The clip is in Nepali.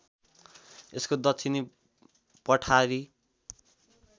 यसको दक्षिणी पठारी